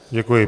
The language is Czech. Děkuji.